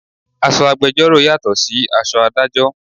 Aṣọ agbẹjoro yàtò sí aṣọ Ádájọ́.